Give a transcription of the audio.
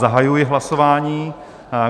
Zahajuji hlasování.